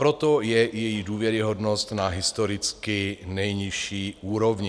Proto je její důvěryhodnost na historicky nejnižší úrovni.